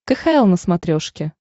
кхл на смотрешке